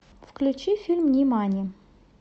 включи фильм нимани